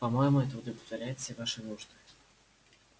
по-моему это удовлетворяет все ваши нужды